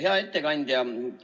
Hea ettekandja!